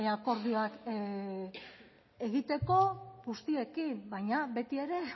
akordioak egiteko guztiekin baina betiere